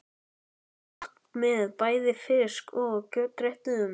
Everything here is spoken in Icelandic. Gott með bæði fisk- og kjötréttum.